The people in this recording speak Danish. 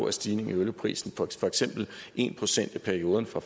en stigning i olieprisen på for eksempel en procent i perioden fra